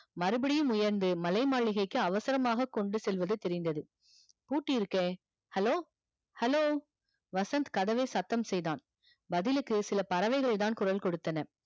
மறுபடியும் உயர்ந்து மலை மாளிகைக்கு அவசரமாக கொண்டு செல்வது தெரிந்தது பூட்டி இருகே hello hello வசந்த் கதவை சத்தம் செய்தான் பதிலுக்கு சில பறவைகள் தான் குரல் குடுத்தன